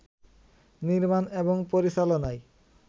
নির্মান এবং পরিচালনায়